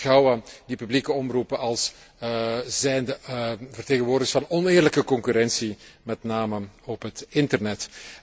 Zij beschouwen de publieke omroepen als zijnde vertegenwoordigers van oneerlijke concurrentie, met name op het internet.